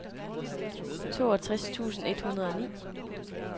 toogtres tusind et hundrede og ni